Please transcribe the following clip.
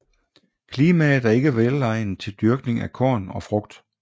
Klimaet er ikke velegnet til dyrkning af korn og frugt